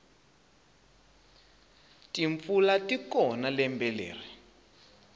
timpfula tikona lembe leri